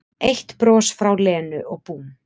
Eitt bros frá Lenu og búmm